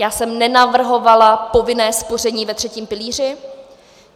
Já jsem nenavrhovala povinné spoření ve třetím pilíři.